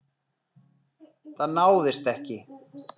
Það náðist ekki.